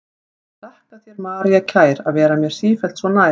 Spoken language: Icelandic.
Ég þakka þér, María kær, að vera mér sífellt svo nær.